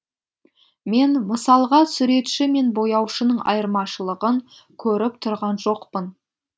мен мысалға суретші мен бояушының айырмашылығын көріп тұрған жоқпын